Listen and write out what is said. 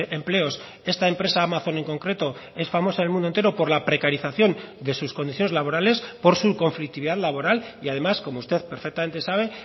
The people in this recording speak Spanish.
empleos esta empresa amazon en concreto es famosa en el mundo entero por la precarización de sus condiciones laborales por su conflictividad laboral y además como usted perfectamente sabe